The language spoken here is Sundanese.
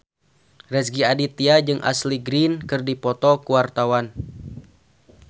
Rezky Aditya jeung Ashley Greene keur dipoto ku wartawan